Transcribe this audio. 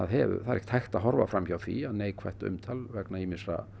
er ekkert hægt að horfa fram hjá því að neikvætt umtal vegna ýmissa